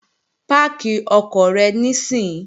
Páàkì ọkọ̀ rẹ níìsín!